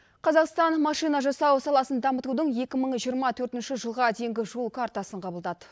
қазақстан машина жасау саласын дамытудың екі мың жиырма төртінші жылға дейінгі жол картасын қабылдады